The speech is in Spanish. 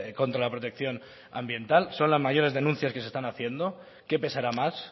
contra la protección ambiental son las mayores denuncias que se están haciendo qué pesará más